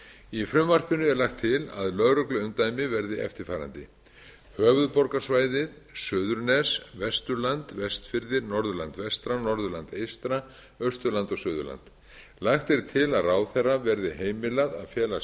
í frumvarpinu er lagt til að lögregluumdæmi verði eftirfarandi höfuðborgarsvæðið suðurnes vesturland vestfirðir norðurland vestra norðurland eystra austurland og suðurland lagt er til að ráðherra verði heimilað að fela